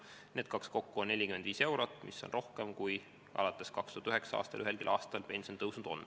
Need kaks kokku on 45 eurot, mis on rohkem kui alates 2009. aastal ühelgi aastal pension tõusnud on.